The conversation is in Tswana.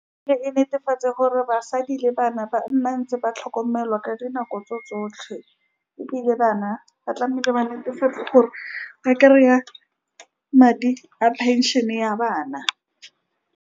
E re netefatse gore basadi le bana ba nna ntse ba tlhokomelwa ka dinako tse tsotlhe, ebile bana ba tlamehile ba netefatsa gore ba kry-a madi a pension-e ya bana.